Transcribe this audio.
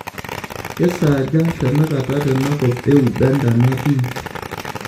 kesaaja tenakata tenakop euganda natii